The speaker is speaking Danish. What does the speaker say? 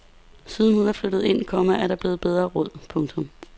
Siden hun er flyttet ind, komma er der blevet bedre råd. punktum